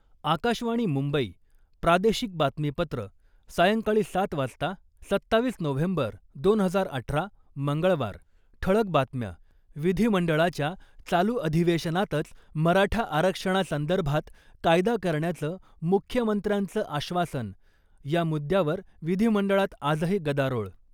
आकाशवाणी मुंबई, प्रादेशिक बातमीपत्र, सायंकाळी सात वाजता, सत्तावीस नोव्हेंबर दोन हजार अठरा, मंगळवार ठळक बातम्या. विधीमंडळाच्या चालू अधिवेशनातच मराठा आरक्षणासंदर्भात कायदा करण्याचं मुख्यमंत्र्यांचं आश्वासन, या मुद्द्यावर विधिमंडळात आजही गदारोळ.